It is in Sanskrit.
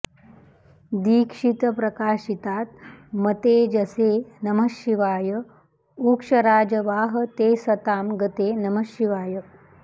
दीक्षितप्रकाशितात्मतेजसे नमः शिवाय उक्षराजवाह ते सतां गते नमः शिवाय